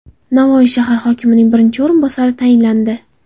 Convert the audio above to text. Navoiy shahar hokimining birinchi o‘rinbosari tayinlandi.